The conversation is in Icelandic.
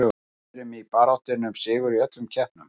Við erum í baráttunni um sigur í öllum keppnum.